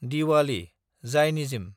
Diwali (Zionism)